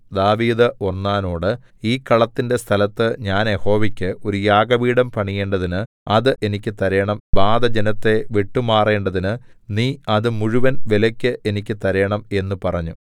ദാവീദ് ഒർന്നാനോട് ഈ കളത്തിന്റെ സ്ഥലത്ത് ഞാൻ യഹോവയ്ക്ക് ഒരു യാഗപീഠം പണിയേണ്ടതിന് അത് എനിക്ക് തരേണം ബാധ ജനത്തെ വിട്ടുമാറേണ്ടതിന് നീ അത് മുഴുവൻ വിലയ്ക്ക് എനിക്ക് തരേണം എന്നു പറഞ്ഞു